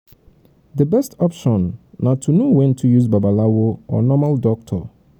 di um best option na to know um when to use babalawo or normal um doctor